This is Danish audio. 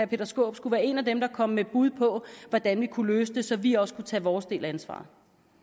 peter skaarup skulle være en af dem der kom med bud på hvordan vi kunne løse det så vi også kunne tage vores del af ansvaret